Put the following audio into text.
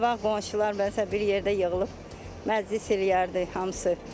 Qabaq qonşular məsələn bir yerdə yığılıb məclis eləyərdi hamısı.